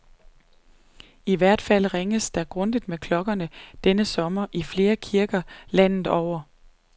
I hvert fald ringes der grundigt med klokkerne denne sommer i flere kirker landet over.